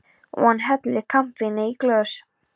Og hann helli kampavíni í glös.